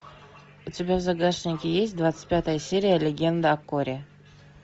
у тебя в загашнике есть двадцать пятая серия легенда о корре